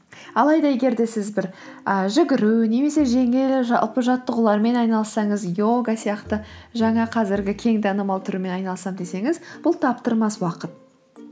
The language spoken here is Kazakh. алайда егер де сіз бір і жүгіру немесе жеңіл жалпы жаттығулармен айналыссаңыз йога сияқты жаңа қазіргі кең танымал түрмен айналысам десеңіз бұл таптырмас уақыт